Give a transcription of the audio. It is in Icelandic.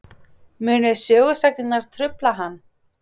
Munu sögusagnirnar trufla hann?